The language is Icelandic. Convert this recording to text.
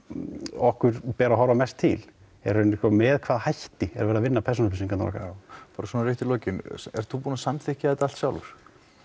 okkur ber að horfa mest til með hvaða hætti er verið að vinna persónu upplýsingarnar okkar já bara svona rétt í lokinn ert þú búinn að samþykkja þetta allt sjálfur